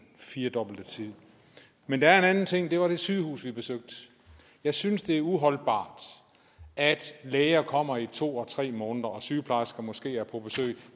firedobbelte tid men der er en anden ting og det var det sygehus vi besøgte jeg synes det er uholdbart at læger kommer i to og tre måneder og sygeplejersker måske er på besøg